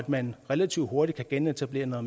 man relativt hurtigt kan genetablere noget